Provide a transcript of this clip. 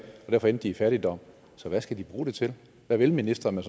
og derfor endt i fattigdom hvad skal de bruge det til hvad vil ministeren med